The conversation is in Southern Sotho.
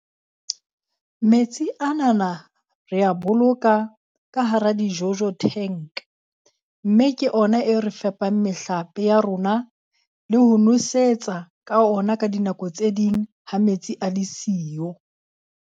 Metsi anana rea boloka ka hara di-jojo tank. Mme ke ona e re fepang mehlape ya rona le ho nwesetsa ka ona ka dinako tse ding ha metsi a le siyo.